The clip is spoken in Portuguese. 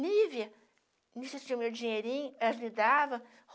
Nívia meu dinheirinho, elas me davam.